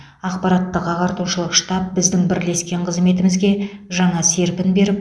ақпараттық ағартушылық штаб біздің бірлескен қызметімізге жаңа серпін беріп